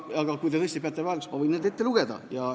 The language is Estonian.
Aga kui te tõesti peate vajalikuks, ma võin need ülesanded ette lugeda.